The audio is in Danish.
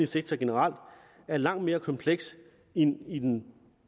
sektor generelt er langt mere kompleks end i den